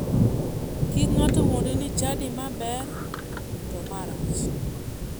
Kik ng'ato wuondi ni chadi ma ber to ma rach